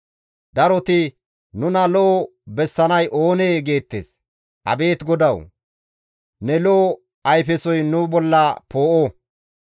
Daroti, «Nuna lo7o bessanay oonee?» geettes; Abeet GODAWU! Ne lo7o ayfesoy nu bolla poo7o.